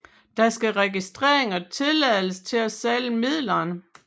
Der skal registrering og tilladelse til at sælge midlerne